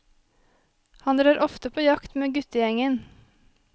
Han drar ofte på jakt med guttegjengen.